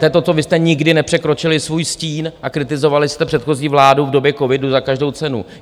To je to, co vy jste nikdy nepřekročili svůj stín a kritizovali jste předchozí vládu v době covidu za každou cenu.